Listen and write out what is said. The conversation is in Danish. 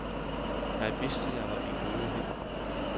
Jeg vidste, jeg var i gode hænder.